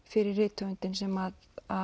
fyrir rithöfundinn sem